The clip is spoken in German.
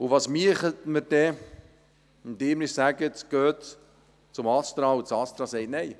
Was täten wir, wenn Sie mir sagten, «Gehen Sie zum ASTRA», und dieses sagt Nein?